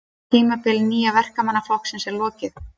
Tímabili Nýja Verkamannaflokksins er lokið